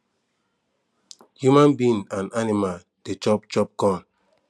human being and animals de chop chop corn